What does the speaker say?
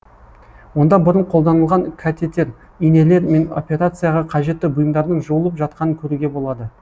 онда бұрын қолданылған катетер инелер мен операцияға қажетті бұйымдардың жуылып жатқанын көруге болады